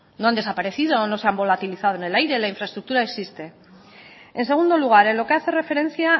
no han desaparecido no se han volatilizado en el aire la infraestructura existe en segundo lugar en lo que hace referencia